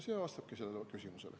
See ongi vastus sellele küsimusele.